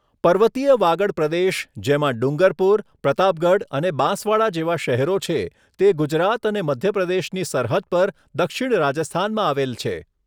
પર્વતીય વાગડ પ્રદેશ જેમાં ડુંગરપુર, પ્રતાપગઢ અને બાંસવાડા જેવા શહેરો છે, તે ગુજરાત અને મધ્ય પ્રદેશની સરહદ પર દક્ષિણ રાજસ્થાનમાં આવેલ છે.